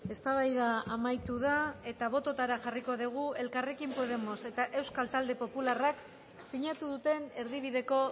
eztabaida amaitu da eta bototara jarriko dugu elkarrekin podemos eta euskal talde popularrak sinatu duten erdibideko